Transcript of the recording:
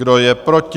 Kdo je proti?